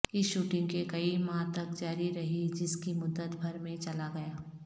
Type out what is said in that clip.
اس shooting کے کئی ماہ تک جاری رہی جس کی مدت بھر میں چلا گیا